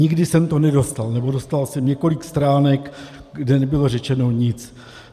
Nikdy jsem to nedostal, nebo dostal jsem několik stránek, kde nebylo řečeno nic.